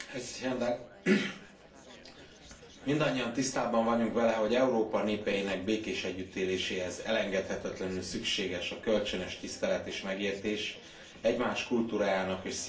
Mindannyian tisztában vagyunk vele, hogy Európa népeinek békés együttéléséhez elengedhetetlenül szükséges a kölcsönös tisztelet és megértés, egymás kultúrájának és szimbólumának ismerete és elfogadása.